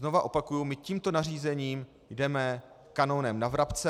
Znovu opakuji, my tímto nařízením jdeme kanonem na vrabce.